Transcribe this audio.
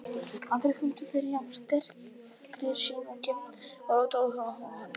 Aldrei fundið fyrir jafn sterkri sýn og kennd og róti á huga og hönd.